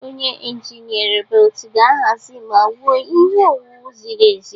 Onye injinia robot ga-ahazi ma wuo ihe owuwu ziri ezi.